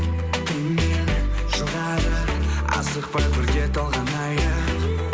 кімнен жұғады асықпа бірге толғанайық